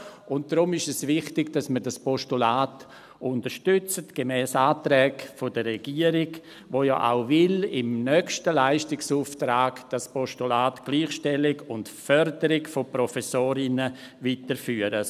Und deshalb ist es wichtig, dass wir dieses Postulat unterstützen, gemäss den Anträgen der Regierung, die ja auch im nächsten Leistungsauftrag das Postulat Gleichstellung und Förderung der Professorinnen weiterführen will.